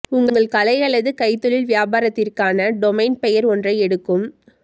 உங்கள் கலை அல்லது கைத்தொழில் வியாபாரத்திற்கான டொமைன் பெயர் ஒன்றை எடுக்கும்